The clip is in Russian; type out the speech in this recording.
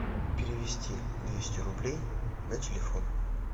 перевести двести рублей на телефон